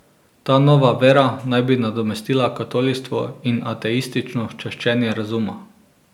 Ta nova vera naj bi nadomestila katolištvo in ateistično čaščenje razuma.